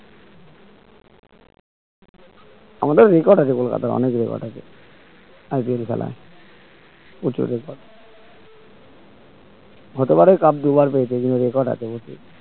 আমাদের record আছে কলকাতায় অনেক record আছে IPL খেলা প্রচুর record হতে পারে cup দুবার পেয়েছে কিন্তু record আছে প্রচুর